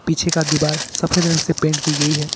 पीछे का दीवार सफेद रंग से पेंट की गई है।